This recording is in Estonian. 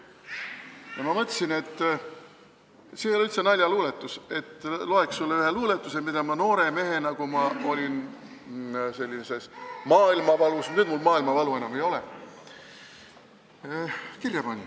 Ja ma mõtlesin, et loeks sulle ühe luuletuse – see ei ole üldse naljaluuletus –, mille ma noore mehena, kui tundsin suurt maailmavalu – nüüd mul maailmavalu enam ei ole –, kirja panin.